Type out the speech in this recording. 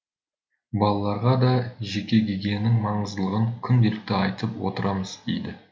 балаларға да жеке гигиенаның маңыздылығын күнделікті айтып отырамыз дейді